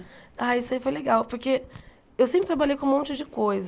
Ah, isso aí foi legal, porque eu sempre trabalhei com um monte de coisa.